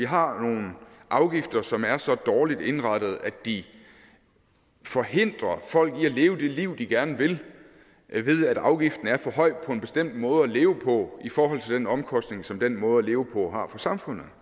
har nogle afgifter som er så dårligt indrettet at de forhindrer folk i at leve det liv de gerne vil ved at afgiften er for høj på en bestemt måde at leve på i forhold til den omkostning som den måde at leve på har for samfundet